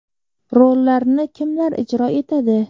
Rollarni kimlar ijro etadi?